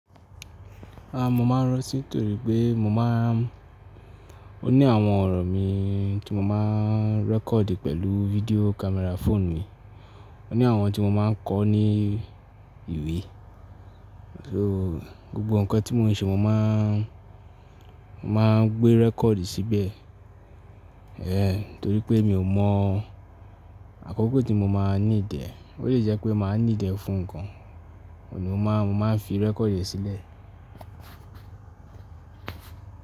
A mo má ń rántí torí pé mo má ń, ó ní àwọn ọ̀rọ̀ mi tí mo má ń record pẹ̀lú fídíò camera fóònù mi. Ó ní àwọn tí mo má ń kọ́ ní ìwé. Gbogbo ǹkan tí mo ń ṣe mo má ń, mo má ń gbé record síbẹ̀. É torí pé mi ò mọ̀ àkókò tí mo má need e. Ó lè jẹ́ pé màá ń need e fún ǹkan, mo má ń fi record ẹ̀ sílẹ̀.